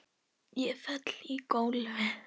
Ég fell í gólfið.